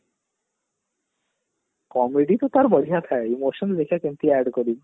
comedy ତ ତାର ବଢିଆ ଥାଏ ବର୍ଷକୁ ଗୋଟେ କେମତି add କରିବି